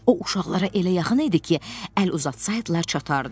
O uşaqlara elə yaxın idi ki, əl uzatsaydılar çatardı.